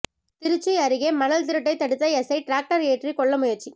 திருச்சி அருகே மணல் திருட்டை தடுத்த எஸ்ஐ டிராக்டர் ஏற்றி கொல்ல முயற்சி